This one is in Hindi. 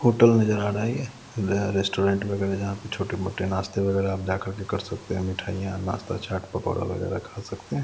होटल नजर आ रहा है ये रेस्टोरेंट वगैरह जहाँ पे छोटे-मोटे नाश्ते वगैरह आप जाकर के कर सकते हैं मिठाइयां नाश्ता चाट पकोड़ा वगैरह खा सकते हैं।